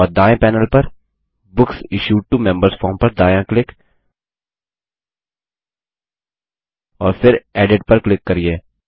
और दायें पैनेल पर books issued to members form पर दायाँ क्लिक और फिर एडिट पर क्लिक करिये